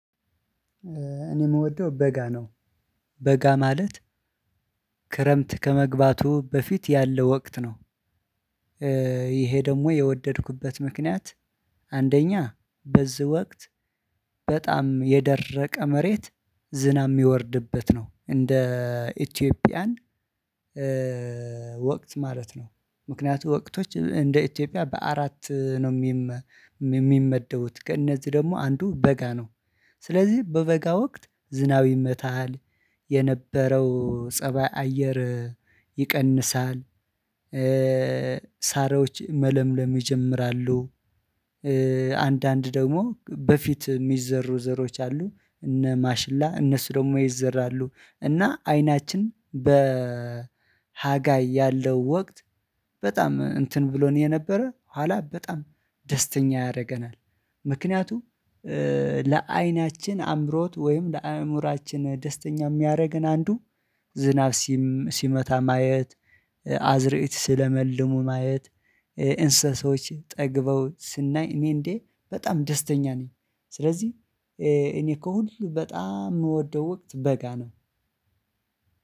እኔ የምወደው በጋ ነው። በጋ ማለት፣ ክረምት ከመግባቱ በፊት ያለው ወቅት ነው። ይሄ ደግሞ የወደድኩበት ምክንያት፣ አንደኛ በዚህ ወቅት በጣም የደረቀ መሬት ዝናብ የሚወርድበት ነው። እንደ ኢትዮጵያን ወቅት ማለት ነው፣ ምክንያቱም ወቅቶች እንደ ኢትዮጵያ በአራት ነው የሚመ የሚመደቡት። ከእነዚህ ደግሞ አንዱ በጋ ነው። ስለዚህ በበጋ ወቅት ዝናብ ይመታሃል፣ የነበረው ፀባይ አየር ይቀንሳል፣ ሳሮች መለምለም ይጀምራሉ፣ አንዳንድ ደግሞ በፊት የሚዘሩ ዘሮች አሉ እነ ማሽላ፣ እነሱ ደግሞ ይዘራሉ። እና አይናችን በ ሀጋይ ያለው ወቅት በጣም እንትን ብሎን የነበረ ኋላ በጣም ደስተኛ ያደርገናል። ምክንያቱም፣ ለአይናችን አምሮት ወይም ለአእምሮአችን ደስተኛ የሚያደርገን አንዱ ዝናብ ሲመታ ማየት። አዝርእት ሲለመልሙ ማየት፣ እንስሳዎች ጠግበው ስናይ፣ እኔ እንዴ በጣም ደስተኛ ነኝ። ስለዚህ እኔ ከሁሉ በጣም የምወደው ወቅት በጋ ነው።